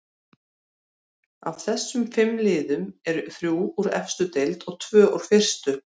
Af þessum fimm liðum eru þrjú úr efstu deild og tvö úr fyrstu.